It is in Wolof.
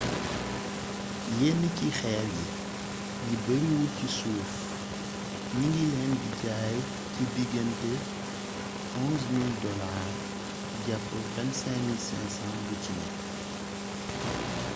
yénn ci xéér yi yi beeriwul ci suuf gningilén di jay ci digeenté us$11,000 japp $22,500 buciné